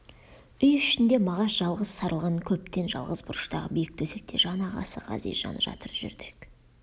үй ішінде мағаш жалғыз сарылған көптен жалғыз бұрыштағы биік төсекте жан ағасы ғазиз жаны жатыр жүрдек